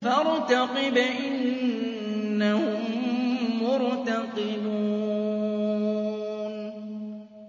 فَارْتَقِبْ إِنَّهُم مُّرْتَقِبُونَ